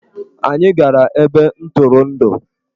Anyị gara ebe ntụrụndụ.